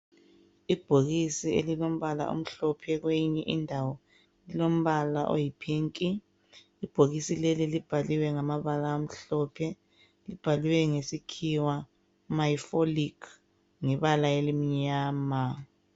Ibhokisi elilombala omhlophe kweyinye indawo lilombala oyi phinki. Ibhokisi leli libhaliwe ngamabala amhlophe, libhaliwe ngesikhiwa miofolic ngebala elimnyama.